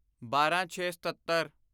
ਬਾਰਾਂਛੇਸਤੱਤਰ